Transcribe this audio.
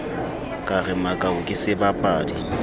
ka re makau ke sebapadi